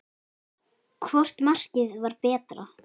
Hvort markið var betra?